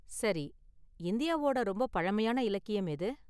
சரி, இந்தியாவோட ரொம்ப பழமையான இலக்கியம் எது?